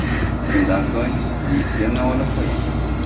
Shundan so‘ng mikserni olib qo‘yamiz.